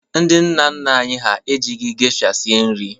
Ndị nna nna anyi ha ejighị geisha sie nri.